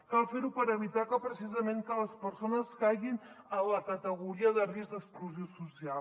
cal fer ho per evitar precisament que les persones caiguin en la categoria de risc d’exclusió social